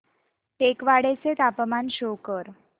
टेकवाडे चे तापमान शो कर